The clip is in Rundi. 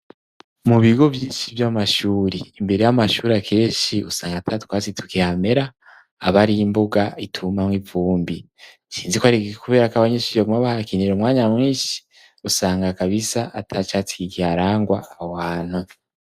Mu bigo vyinshi vyamashuri imbere yamashuri akeshi usanga ata twatsi tukihamera abari imbuga itumamwo ivumbi, sinzi ko ari kubera abanyeshieguma bahakinira umwanya mwinshi usanga kabisa atacatsi kiharangwa aho hantu.